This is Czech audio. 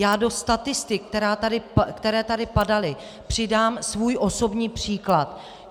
Já do statistik, které tu padaly, přidám svůj osobní příklad.